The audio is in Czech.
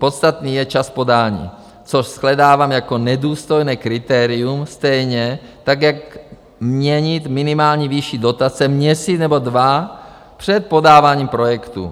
Podstatný je čas podání, což shledávám jako nedůstojné kritérium, stejně tak jak měnit minimální výši dotace měsíc nebo dva před podáváním projektu.